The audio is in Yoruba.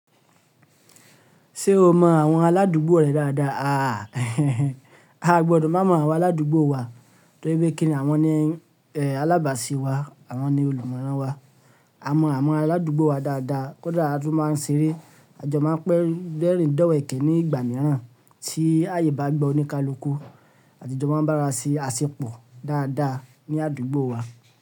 Ṣé o mọ àwọn aládùúgbò rẹ dáadáa? Aà! A o gbọdọ̀ má mọ àwọn aládùúgbò wa torí pé kíni àwọn ni, alábàáse wa, àwọn ni olùmọ̀ran wa. A mọ àwọn aládùúgbò wa dáadáa, kódà a tún máa ń ṣeré. Àjọ máa ń dẹ́rìndọ̀wẹ̀ẹ́kẹ́ ní ìgbà mìíràn tí àyè bá gba oníkálukú àti jọ máa ń bá arawa se àsèpọ̀ dáadáa ní àdúgbò wa.